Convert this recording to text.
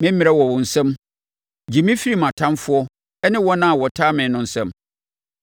Me mmerɛ wɔ wo nsam gye me firi mʼatamfoɔ ne wɔn a wɔtaa me no nsam.